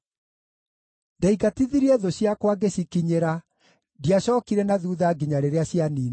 Ndaingatithirie thũ ciakwa ngĩcikinyĩra; ndiacookire na thuutha nginya rĩrĩa cianiinirwo.